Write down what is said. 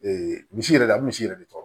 misi yɛrɛ a bɛ misi yɛrɛ de tɔrɔ